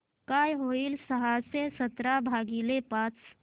काय होईल सहाशे सतरा भागीले पाच